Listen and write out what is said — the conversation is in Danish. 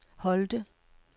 Holte